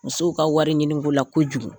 Musow ka wari ɲiniko la kojugu